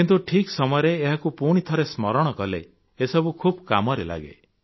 କିନ୍ତୁ ଠିକ୍ ସମୟରେ ଏହାକୁ ପୁଣିଥରେ ସ୍ମରଣ କଲେ ଏସବୁ ଖୁବ୍ କାମରେ ଲାଗେ